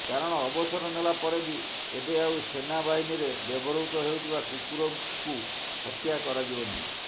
କାରଣ ଅବସର ନେଲା ପରେ ବି ଏବେ ଆଉ ସେନା ବାହନୀରେ ବ୍ୟବହୃତ ହେଉଥିବା କୁକୁରଙ୍କୁ ହତ୍ୟା କରାଯିବନାହିଁ